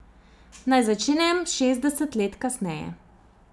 Naj začnem šestdeset let kasneje.